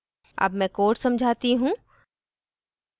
अब मैं code समझाती हूँ